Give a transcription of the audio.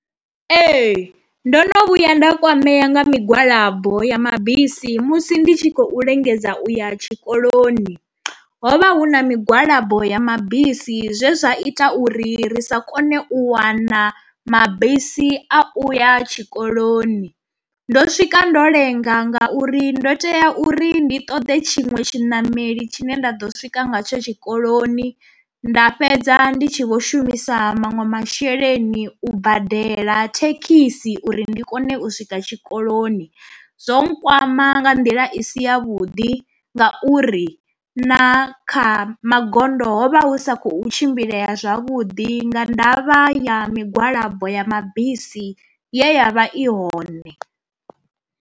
Ee ndo no vhuya nda kwamea nga migwalabo ya mabisi musi ndi tshi khou lingedza u ya tshikoloni, hovha hu na migwalabo ya mabisi zwezwa ita uri ri sa kone u wana mabisi a uya tshikoloni. Ndo swika ndo lenga ngauri ndo tea uri ndi ṱoḓe tshiṅwe tshiṋameli tshine nda ḓo swika nga tsho tshikoloni, nda fhedza ndi tshi vho shumisa maṅwe masheleni u badela thekhisi uri ndi kone u swika tshikoloni. Zwo nkwama nga nḓila i si ya vhuḓi ngauri na kha magondo ho vha hu sa khou tshimbileya zwavhuḓi nga ndavha ya migwalabo ya mabisi ye ya vha i hone.